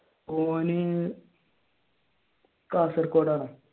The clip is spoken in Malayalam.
ഓൻ കാസർഗോഡാണ്